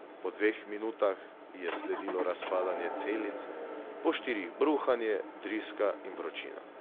Po dveh minutah je sledilo razpadanje celic, po štirih bruhanje, driska in vročina.